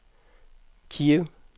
Kiev